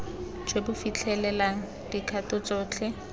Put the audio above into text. jo bo fitlhelelang dikgato tsotlhe